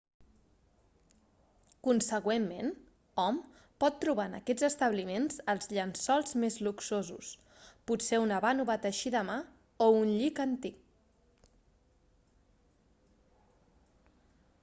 consegüentment hom pot trobar en aquests establiments els llençols més luxosos potser una vànova teixida a mà o un llit antic